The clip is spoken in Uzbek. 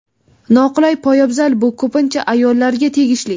Noqulay poyabzal Bu ko‘pincha ayollarga tegishli.